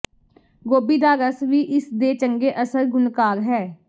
ਗੋਭੀ ਦਾ ਰਸ ਵੀ ਇਸ ਦੇ ਚੰਗੇ ਅਸਰ ਗੁਣਕਾਰ ਹੈ